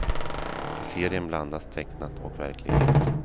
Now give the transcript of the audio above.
I serien blandas tecknat och verklighet.